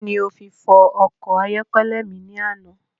Kíni o fi fọ ọkọ̀ ayọ́kẹ́lẹ́ mi ni àná?